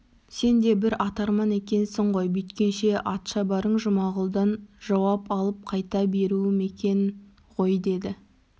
сен де бір атарман екесің ғой бүйткенше атшабарың жұмағұлдан жауап алып қайта беруім екен ғой деді